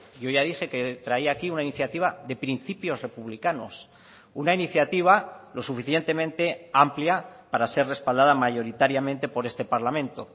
yo ya dije que traía aquí una iniciativa de principios republicanos una iniciativa lo suficientemente amplia para ser respaldada mayoritariamente por este parlamento